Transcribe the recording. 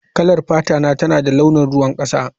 Kalar fatata tana da launin ruwan kasa